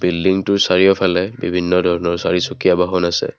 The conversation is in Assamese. বিল্ডিংটোৰ চাৰিওফালে বিভিন্ন ধৰণৰ চাৰিচুকীয়া বাহন আছে।